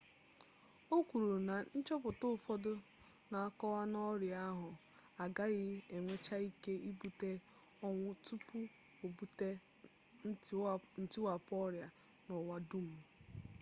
o kwuru na nchọpụta ụfọdụ na-akọwa na ọrịa ahụ agaghị enwecha ike ibute ọnwụ tupu o bute ntiwapụ ọrịa n'ụwa dum